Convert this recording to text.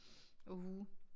Og hue